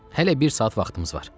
Hələ bir saat vaxtımız var.